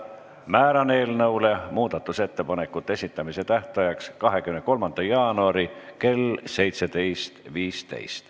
Määran muudatusettepanekute esitamise tähtajaks 23. jaanuari kell 17.15.